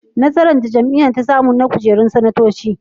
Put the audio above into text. Nasarar da jam'iyyar ta samu na kujerun sanatoci.